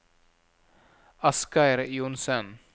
Asgeir Johnsen